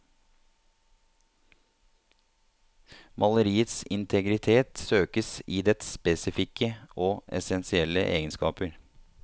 Maleriets integritet søkes i dets spesifikke og essensielle egenskaper.